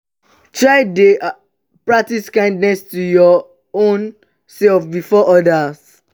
try de practice kindness to your own self before other